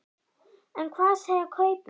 En hvað segja kaupmenn?